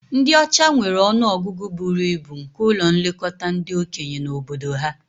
Ndị ọcha nwere ọnụ ọgụgụ buru ibu nke ụlọ nlekọta ndị okenye na obodo ha